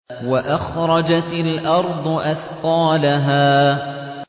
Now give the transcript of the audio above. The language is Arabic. وَأَخْرَجَتِ الْأَرْضُ أَثْقَالَهَا